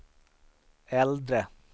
äldre